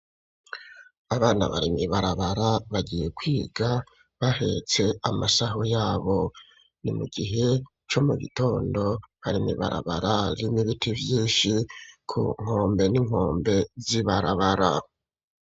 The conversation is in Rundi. Abana bari mwibabara bagiye kwiga bahetse amasaho yabo ni mu gihe co mu gitondo, bari mwibabara rimwo ibiti vyinshi ku nkombe n'inkombe z'ibarabara.